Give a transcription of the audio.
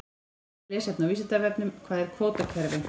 Frekara lesefni á Vísindavefnum: Hvað er kvótakerfi?